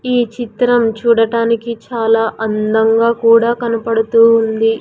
ఈ చిత్రం చూడటానికి చాలా అందంగా కూడా కనపడుతూ ఉంది.